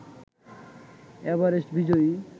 Everest বিজয়ী